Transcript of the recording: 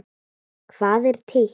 Hvað er títt?